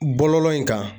Bɔlɔlɔ in kan